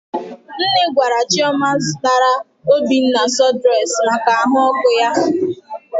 Nne gwara Chioma zụtara Obinna sụdụres maka ahụ ọkụ ya.